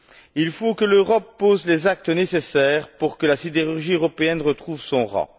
Il faut que l'Europe pose les actes nécessaires pour que la sidérurgie européenne retrouve son rang.